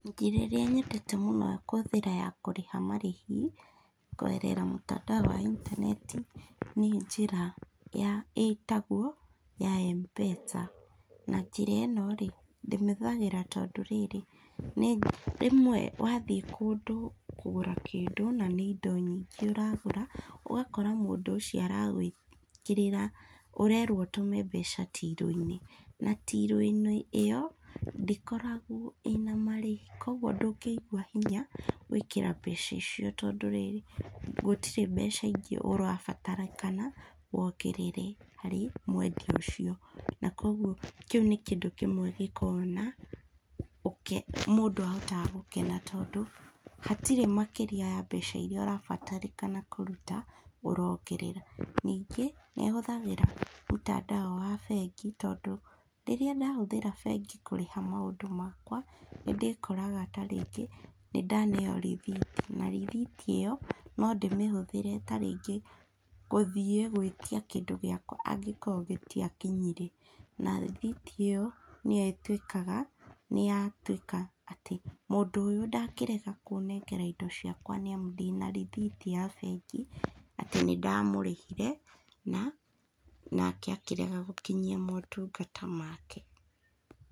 Njĩra ĩrĩa nyendete mũno ya kũhũthĩra ya kũrĩha marĩhi kũgerera mũtandao wa ĩntaneti nĩ njĩra ĩtagwo ya Mpesa na njĩra ĩno rĩ ndĩmĩhũthagira tondũ rĩrĩ rĩmwe wathiĩ kũndũ kũgũra kĩndũ na nĩ indo nyingĩ ũragũra ũgakora mũndũ ũcio ara gwĩkĩrĩra ũrerwo ũtũme mbeca tilu inĩ na tilu inĩ ĩyo ndĩkoragwo ĩna marĩhi kũogũo ndũngĩigũa hinya gwĩkĩra mbeca icio tondũ rĩrĩ gũtirĩ mbeca ingĩ ũra batarĩkana wongerere harĩ mwendĩa ũcio na kũogũo kĩũ nĩ kĩndũ kĩmwe gĩkoragwo na ũke mũndũ ahotaga gũkena tondũ hatĩrĩ makĩria wa mbeca irĩa ũrabatarĩkana kũrũta ũrongerera nĩngĩ nĩ ahũthagĩra mũtandao wa bengi nĩtondũ rĩrĩa ndahũthira bengĩ kũrĩha maũndũ makwa nĩndĩkoraga tarĩngĩ nĩ ndaneo rĩthiti na rĩthitĩ ĩyo no ndĩmĩhũthĩre ta rĩngĩ gũthiĩ gwĩtia kindũ gĩakwa angĩkowa gĩtiakĩnyĩre na rĩthiti ĩyo nĩ yo ĩtwĩkaga nĩ yo yatwĩka atĩ mũndũ ũyũ ndangĩrega kũnengera indo ciakwa nĩ amũ ndĩna rĩthitĩ ya bengiatĩ nĩ ndamũrĩhire na akĩrega gũkinyia maũtũngata make.